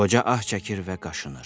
Qoca ah çəkir və qaşınır.